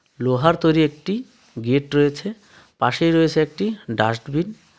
লোহার তৈরি একটি গেট রয়েছে পাশেই রয়েছে একটি ডাস্টবিন ।